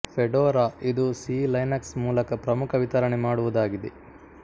Fedora ಇದು ಸೀ Linux ಮೂಲಕ ಪ್ರಮುಖ ವಿತರಣೆ ಮಾಡುವುದಾಗಿದೆ